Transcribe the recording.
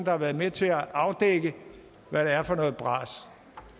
har været med til at afdække hvad det er for noget bras